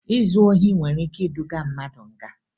Izu ohi nwere ike iduga mmadụ nga